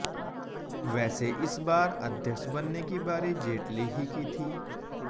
वैसे इस बार अध्यक्ष बनने की बारी जेटली ही की थी